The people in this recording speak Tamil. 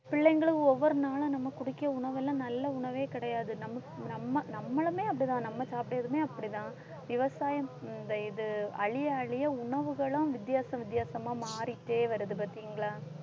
பிள்ளைங்களும் ஒவ்வொரு நாளும் நம்ம குடிக்கிற உணவெல்லாம் நல்ல உணவே கிடையாது நம்ம நம்ம நம்மளுமே அப்படிதான் நம்ம சாப்பிட்டறதுமே அப்படிதான் விவசாயம் இந்த இது அழிய அழிய உணவுகளும் வித்தியாச வித்தியாசமா மாறிக்கிட்டே வருது பார்த்தீங்களா?